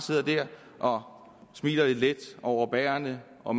der og smiler lidt let overbærende og